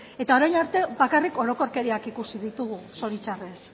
eta orain arte bakarrik orokorkeriak ikusi ditugu zoritxarrez